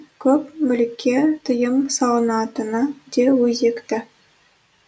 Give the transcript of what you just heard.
көп мүлікке тыйым салынатыны да өзекті